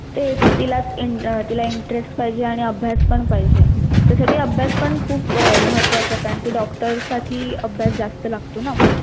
तेच तिला अं तिला interest पाहिजे आणि अभ्यास पण पाहिजे त्यासाठी अभ्यास पण खूप अह महत्वाचा आहे कारण कि doctor साठी अभ्यास जास्त लागतो ना